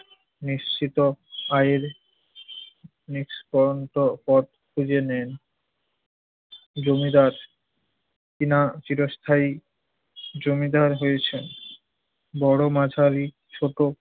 নিশ্চিত আয়ের নিষ্কণ্টক পথ খুঁজে নেন। জমিদার কিনা চিরস্থায়ী জমিদার হয়েছেন। বড়, মাঝারি, ছোট